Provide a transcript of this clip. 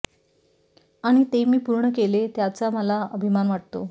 आणि ते मी पूर्ण केले त्याचा मला अभिमान वाटतो